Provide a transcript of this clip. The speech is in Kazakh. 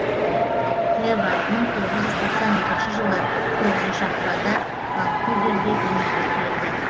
эван мың тоғыз жүз тоқсан екінші жылы тоғызыншы ақпанда ванкуверде дүниеге келді